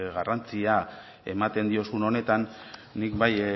garrantzia ematen diozun honetan nik bai